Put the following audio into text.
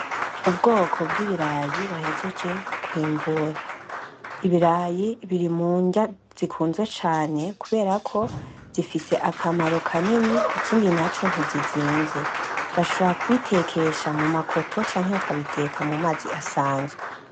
Ubwoko bw'ibirayi bahejeje kw'imbura, ibirayi biri m'unrya zikunzwe cane kubera ko zifise akamaro kanini, ikindi naco nti zi zimvye. Bashobora kubitekesha mu makoto canke bakabiteka mumazi asanzwe.